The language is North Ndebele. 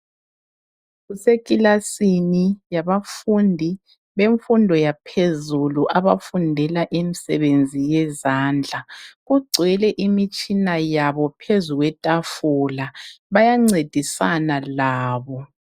Kusekilasini yabafundi bemfundo yaphezulu abafundela imisebenzi yezandla kugcwele imitshina yabo phezu kwetafula bayancedisana labo.